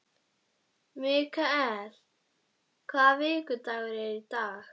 Mikael, hvaða vikudagur er í dag?